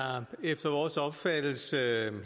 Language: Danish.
efter vores opfattelse